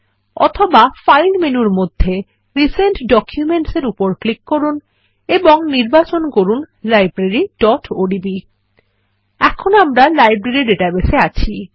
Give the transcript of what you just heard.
অথবা ফাইল মেনুর মধ্যে রিসেন্ট Documents এর উপর ক্লিক করুন এবং নির্বাচন করুন libraryওডিবি এখন আমরা লাইব্রেরী ডাটাবেস এ আছি